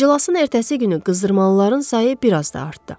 İclasın ertəsi günü qızdırmalıların sayı bir az da artdı.